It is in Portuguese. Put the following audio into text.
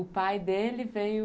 O pai dele veio...